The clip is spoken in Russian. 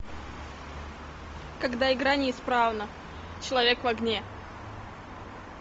когда игра не исправна человек в огне